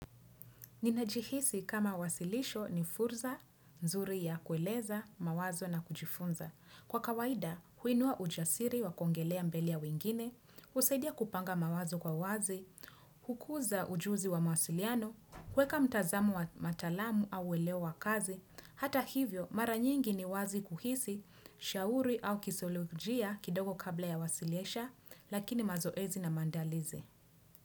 Ninajihisi kama wasilisho ni fursa, nzuri ya kueleza, mawazo na kujifunza. Kwa kawaida, huinua ujasiri wa kuongelea mbele ya wengine, husaidia kupanga mawazo kwa wazi, hukuza ujuzi wa mawasiliano, kuweka mtazamo wa mataalamu au welewa kazi, hata hivyo mara nyingi ni wazi kuhisi, shauri au kisolojia kidogo kabla ya wasilisha, lakini mazoezi na maandalizi.